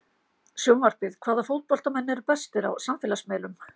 Sjónvarpið: Hvaða fótboltamenn eru bestir á samfélagsmiðlum?